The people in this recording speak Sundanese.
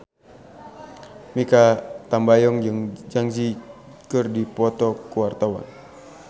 Mikha Tambayong jeung Zang Zi Yi keur dipoto ku wartawan